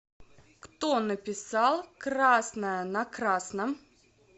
кто написал красное на красном